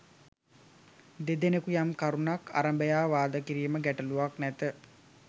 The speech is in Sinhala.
දෙදෙනෙකු යම් කරුණක් අරබයා වාද කිරීම ගැටළුවක් නැත